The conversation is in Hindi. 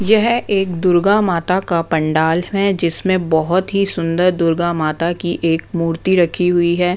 यह एक दुर्गा माता का पंडाल है जिसमें बहुत ही सुंदर दुर्गा माता की एक मूर्ति रखी हुई है।